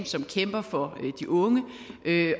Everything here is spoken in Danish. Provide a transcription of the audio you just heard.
som kæmper for de unge